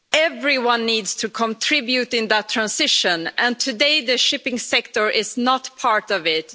Everyone needs to contribute in that transition and today the shipping sector is not part of it.